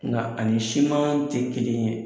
Nga ani siman tɛ kelen ye.